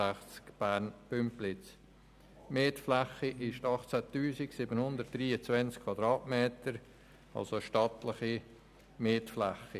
Die Mietfläche beträgt 18 723 Quadratmeter, also eine stattliche Mietfläche.